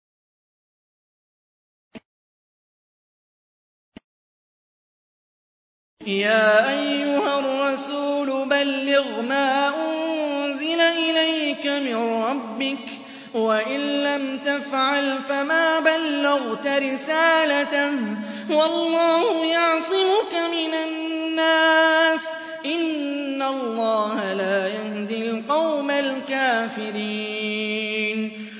۞ يَا أَيُّهَا الرَّسُولُ بَلِّغْ مَا أُنزِلَ إِلَيْكَ مِن رَّبِّكَ ۖ وَإِن لَّمْ تَفْعَلْ فَمَا بَلَّغْتَ رِسَالَتَهُ ۚ وَاللَّهُ يَعْصِمُكَ مِنَ النَّاسِ ۗ إِنَّ اللَّهَ لَا يَهْدِي الْقَوْمَ الْكَافِرِينَ